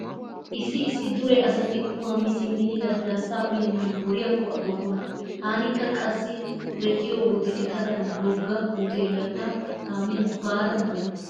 Issi issi dure asati qumaa mi simmidi lasilaassaa uyennan woriyakko aggokkona. Taanikka qassi duretiyo wode etadan wogga huteeliya ta kaamiyan baada maana.